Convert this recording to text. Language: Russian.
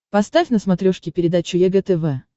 поставь на смотрешке передачу егэ тв